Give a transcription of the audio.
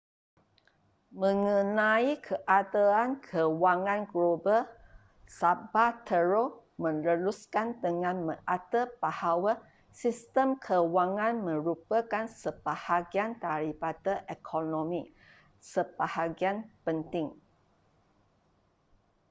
mengenai keadaan kewangan global zapatero meneruskan dengan mengata bahawa sistem kewangan merupakan sebahagian daripada ekonomi sebahagian penting